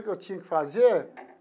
Eu tinha que fazer?